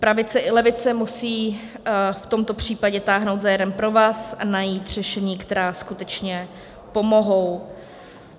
Pravice i levice musí v tomto případě táhnout za jeden provaz a najít řešení, která skutečně pomohou.